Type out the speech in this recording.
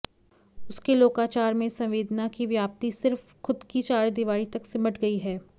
उसके लोकाचार में संवेदना की व्याप्ति सिर्फ खुद की चारदीवारी तक सिमट गई है